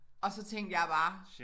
Og så tænkte jeg bare